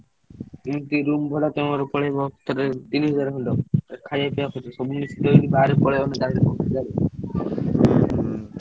ଏମତି room ଭଡା ପଳେଇବ ।